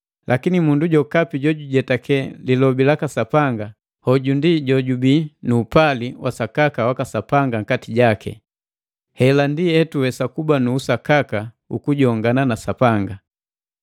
Lakini mundu jokapi jojujetake lilobi laka Sapanga, hoju ndi jojubii nu upali wa sakaka waka Sapanga nkati jaki. Hela ndi hetuwesa kuba nu usakaka ukujongana na Sapanga.